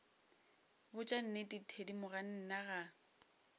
botša nnete thedimogane nna ga